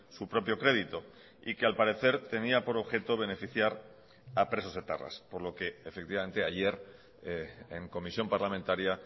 su propio crédito y que al parecer tenía por objeto beneficiar a presos etarras por lo que efectivamente ayer en comisión parlamentaria